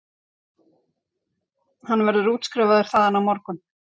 Hann verður útskrifaður þaðan á morgun